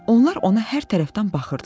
Onlar ona hər tərəfdən baxırdılar.